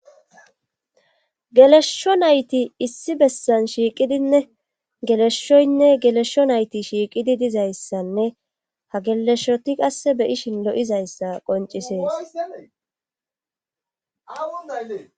gelesho nayti issi bessan shiiqidinne geleshshoynne gelesho nayti shiiqidi dizayssanne ha geleshoti qasse beyishin lo7izayssa qoncisees